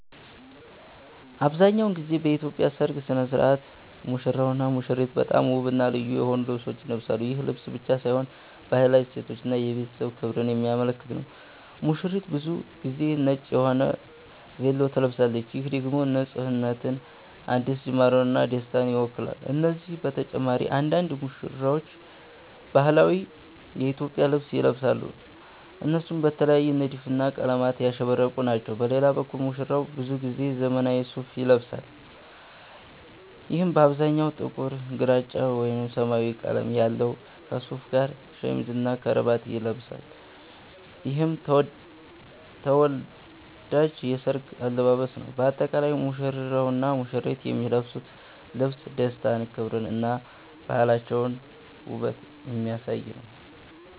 አብዛሀኛውን ጊዜ በኢትዮጵያ ሠርግ ሥነ ሥርዓት ሙሽራውና ሙሽሪት በጣም ውብና ልዩ የሆኑ ልብሶችን ይለብሳሉ። ይህ ልብስ ብቻ ሳይሆን ባህላዊ እሴቶችን እና የቤተሰብ ክብርን የሚያመለክት ነው። ሙሽሪት ብዙ ጊዜ ነጭ የሆነ ቬሎ ትለብሳለች፣ ይህም ደግሞ ንፁህነትን፣ አዲስ ጅማርን እና ደስታን ይወክላል። ከነዚህ በተጨማሪ አንዳንድ ሙሽራዎች ባህላዊ የኢትዮጵያ ልብስ ይለብሳሉ፣ እነሱም በተለየ ንድፍና ቀለማት ያሸበረቁ ናቸው። በሌላ በኩል ሙሽራው ብዙ ጊዜ ዘመናዊ ሱፋ ይለብሳል፣ ይህም በአብዛኛው ጥቁር፣ ግራጫ ወይም ሰማያዊ ቀለም አለው። ከሱፉ ጋር ሸሚዝና ከረባት ይለብሳል፣ ይህም ተወዳጅ የሠርግ አለባበስ ነው። በአጠቃላይ ሙሽራውና ሙሽሪት የሚለብሱት ልብስ ደስታን፣ ክብርን እና ባህላቸውንና ውበትን የሚያሳይ ነው።